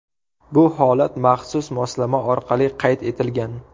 Bu holat maxsus moslama orqali qayd etilgan.